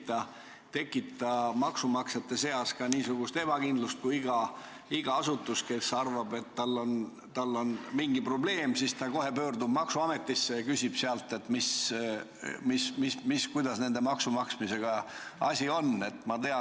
Kas see ei tekita maksumaksjate seas ebakindlust, kui iga asutus, kes arvab, et tal on mingi probleem, saab kohe pöörduda maksuametisse ja küsida sealt, kuidas ühe või teise maksu maksmisega asi on?